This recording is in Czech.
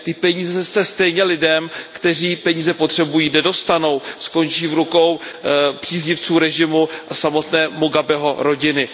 Ty peníze se stejně lidem, kteří peníze potřebují, nedostanou, skončí v rukou příznivců režimu a samotné Mugabeho rodiny.